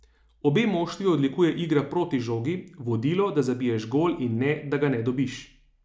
Obe moštvi odlikuje igra proti žogi, vodilo, da zabiješ gol in ne, da ga ne dobiš.